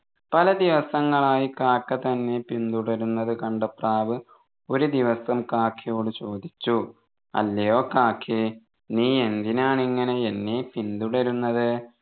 പലദിവസങ്ങളായ് കാക്ക തന്നെ പിന്തുടരുന്നത് കണ്ട പ്രാവ് ഒരു ദിവസം കാക്കയോട് ചോദിച്ചു അല്ലയോ കാക്കെ നീ എന്തിനാണ് ഇങ്ങനെ എന്നെ പിന്തുടരുന്നത്